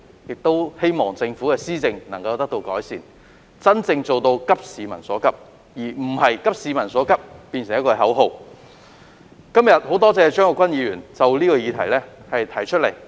我們希望政府能夠改善施政，真正急市民所急，而非將"急市民所急"視為一句口號而已。